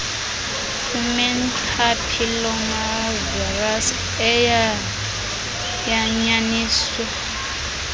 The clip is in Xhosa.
human papillomavirus eyayanyaniswa